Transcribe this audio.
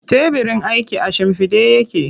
Tebirin aikin a shimfiɗe yake.